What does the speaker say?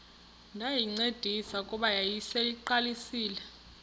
ndayincedisa kuba yayiseyiqalisile